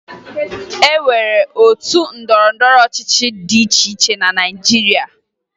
E nwere otu ndọrọndọrọ ọchịchị dị iche iche na Naịjirịa